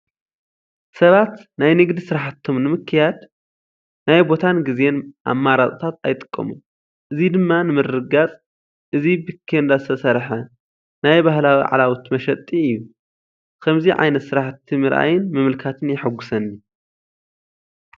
ሰባት ናይ ንግዲ ስራሕቶም ንምክያድ ናይ ቦታን ግዜን ኣማራፅታት ኣይጥቀሙን። እዚ ድማ ንምርግጋፅ እዚ ብቴንዳ ዝተሰርሓ ናይ ባህላዊ ዓላውቲ መሸጢ እዩ። ክመይ ዓይነት ስራሕቲ ምርኣይን ምምልካትን የሓጉሰኒ።